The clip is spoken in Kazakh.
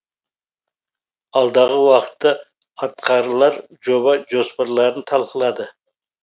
алдағы уақытта атқарылар жоба жоспарларын талқылады